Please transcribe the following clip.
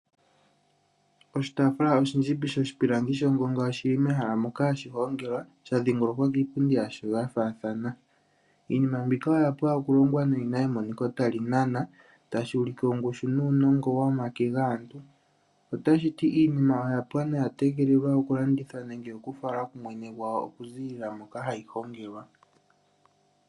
Oshitaafula oshindjimbi shoshipilangi shongonga oshi li mehala moka hashi hongelwa sha dhiingolokwa kiipundi yasho ya faathana. Iinima mbika oya pwa okulongwa noyi na emoniko tali nana tashi ulike ongushu nuunongo womake gaantu. Otashi ti iinima oya pwa noya tegelelwa okulandithwa nenge okufalwa kumwene gwawo okuziilila moka hayi hongelwa.